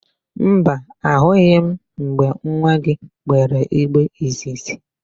Mba, ahụghị m mgbe nwa gị gbere igbe izizi.